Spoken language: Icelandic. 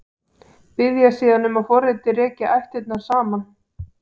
Biðja síðan um að forritið reki ættirnar saman.